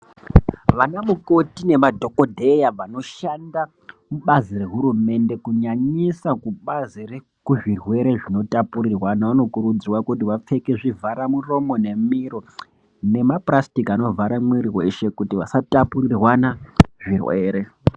Vana mukoti nemadhokodheya vanoshanda mubazi rehurumende kunyanyisa kubazi rekuzvirwere zvinotapurirwana vanokuridzirwa kuti vapfeke zvivhara miromo nemiro nepurasitiki anovhara mwiri weshe kuti vasatapurirwana zvirwere.